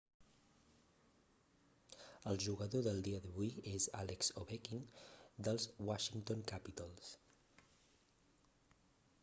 el jugador del dia d'avui és alex ovechkin dels washington capitals